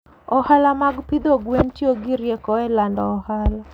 Ohala mag pidho gwen tiyo gi rieko e lando ohala.